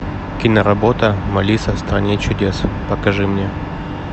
киноработа малиса в стране чудес покажи мне